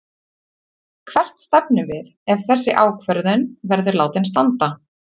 Hvert stefnum við ef þessi ákvörðun verður látin standa?